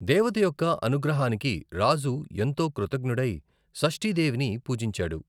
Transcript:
దేవత యొక్క అనుగ్రహానికి రాజు ఎంతో కృతజ్ఞుడై, షష్ఠీ దేవిని పూజించాడు.